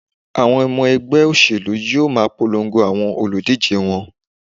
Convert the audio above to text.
Àwọn ọmọ ẹgbẹ́ òṣèlú yóò ma polongo àwọn olùdíje wọn.